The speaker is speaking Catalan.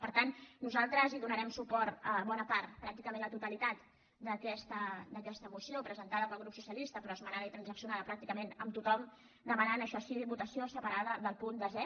per tant nosaltres donarem suport a bona part pràcticament a la totalitat d’aquesta moció presentada pel grup socialista però esmenada i transaccionada pràcticament amb tothom demanant això sí votació separada de punt desè